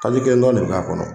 Pake kele dɔrɔn de b' a kɔnɔ.